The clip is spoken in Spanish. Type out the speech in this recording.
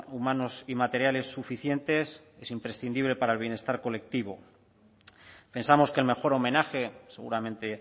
humanos y materiales suficientes es imprescindible para el bienestar colectivo pensamos que el mejor homenaje seguramente